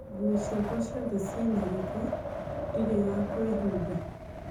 Nguo ciakwa ciothe cina gĩko, ndirĩ ya kũĩhumba